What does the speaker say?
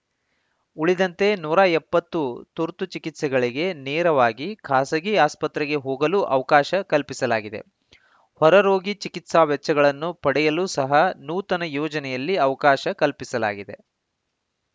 ಉಳಿದಂತೆ ನೂರ ಎಪ್ಪತ್ತು ತುರ್ತು ಚಿಕಿತ್ಸೆಗಳಿಗೆ ನೇರವಾಗಿ ಖಾಸಗಿ ಆಸ್ಪತ್ರೆಗೆ ಹೋಗಲೂ ಅವಕಾಶ ಕಲ್ಪಿಸಲಾಗಿದೆ ಹೊರರೋಗಿ ಚಿಕಿತ್ಸಾ ವೆಚ್ಚಗಳನ್ನು ಪಡೆಯಲೂ ಸಹ ನೂತನ ಯೋಜನೆಯಲ್ಲಿ ಅವಕಾಶ ಕಲ್ಪಿಸಲಾಗಿದೆ